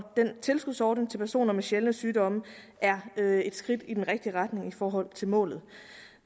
den tilskudsordning til personer med sjældne sygdomme er et skridt i den rigtige retning i forhold til målet